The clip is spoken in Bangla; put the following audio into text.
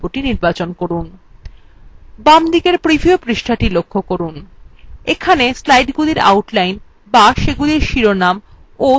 বামদিকের preview পৃষ্ঠাটি লক্ষ্য করুন এখানে slidesগুলির outline বা সেগুলির শিরোনাম of সাবপয়েন্টগুলি দেখা যাচ্ছে